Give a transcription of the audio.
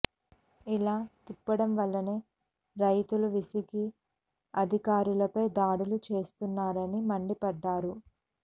ఇలా తిప్పడం వల్లనే రైతులు విసిగి అధికారులపై దాడులు చేస్తున్నారని మండిపడ్డారు